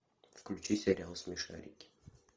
включи сериал смешарики